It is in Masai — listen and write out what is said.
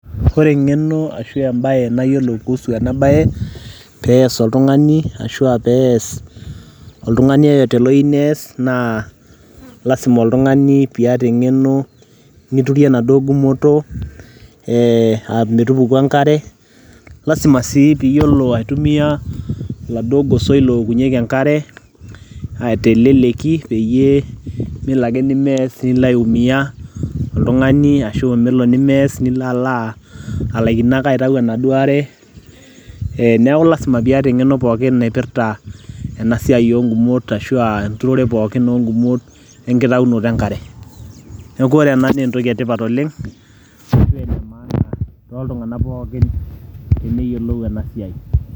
Ore eng'eno ashu ebae nayiolo kuhusu enabae, pees oltung'ani, ashua pees oltung'ani yoyote oyieu nees, na lasima oltung'ani piata eng'eno niturie enaduo gumoto, ah metupuku enkare, lasima si piyiolo aitumia laduo gosoi lookunyeki enkare, teleleki peyie melake ni mess nilo aiumia oltung'ani, ashu nelo ni mess nilo ala alaikino aitayu enaduo are. Eh neeku lasima piata eng'eno pookin naipirta enasiai ogumot ashua enturore pookin ogumot, enkitaunoto enkare. Neeku ore ena naa entoki etipat oleng',toltung'anak pookin teneyiolou enasiai.